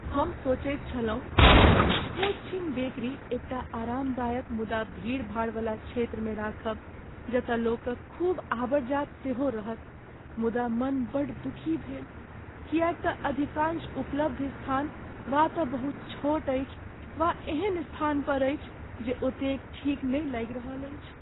हम सोचैत छलहुँ जे अपन छोटछीन बेकरी एकटा आरामदायक मुदा भीड़भाड़वला क्षेत्रमे राखब जतय लोकक खूब अबरजात सेहो रहत मुदा मन बड़ दुखी भेल किएक तँ अधिकांश उपलब्ध स्थान वा तँ बहुत छोट अछि वा एहन स्थान पर अछि जे ओतेक ठीक नहि लागि रहल अछि।